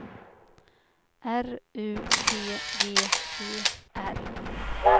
R U T G E R